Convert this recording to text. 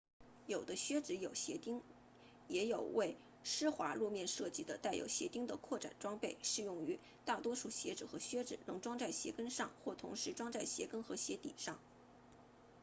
有的靴子有鞋钉也有为湿滑路面设计的带有鞋钉的扩展装备适用于大多数鞋子和靴子能装在鞋跟上或同时装在鞋跟和鞋底上